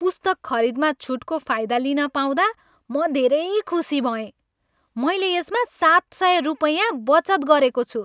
पुस्तक खरिदमा छुटको फाइदा लिन पाउँदा म धेरै खुसी भएँ। मैले यसमा सात सय रुपैयाँ बचत गरेको छु!